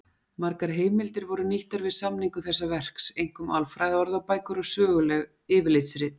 Margar heimildir voru nýttar við samningu þessa verks, einkum alfræðiorðabækur og söguleg yfirlitsrit.